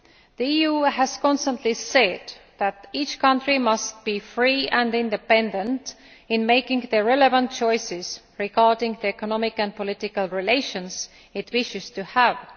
The EU has consistently said that each country must be free and independent in making the relevant choices regarding the economic and political relations it wishes to have.